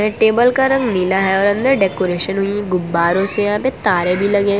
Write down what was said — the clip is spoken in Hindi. टेबल का रंग नीला है और अंदर डेकोरेशन भी गुब्बारों से है आगे तारे भी लगे--